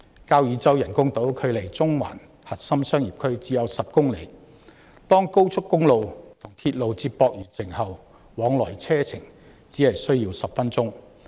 交椅洲人工島距離中環核心商業區只有10公里，當高速公路和鐵路接駁完成後，往來車程只需10分鐘。